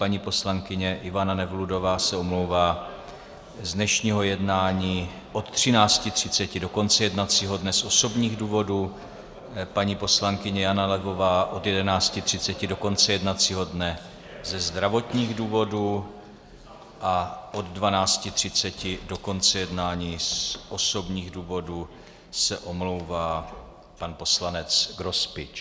Paní poslankyně Ivana Nevludová se omlouvá z dnešního jednání od 13.30 do konce jednacího dne z osobních důvodů, paní poslankyně Jana Levová od 11.30 do konce jednacího dne ze zdravotních důvodů a od 12.30 do konce jednání z osobních důvodů se omlouvá pan poslanec Grospič.